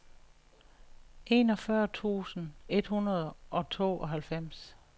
enogfyrre tusind et hundrede og tooghalvfems